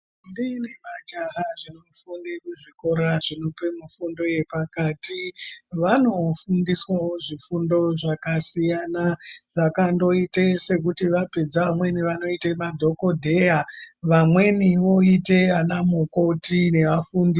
Kune majaha anofunde muzvikora zvinope fundo yepakati vanofundiswawo zvifundo zvakasiyana zvakandoite sekuti vapedza vamweni vanoite madhokodheya vamweni voite ana mukoti nevafundi.